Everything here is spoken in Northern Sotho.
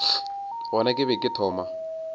gona ke be ke thoma